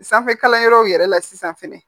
Sanfɛkalanyɔrɔw yɛrɛ la sisan fɛnɛ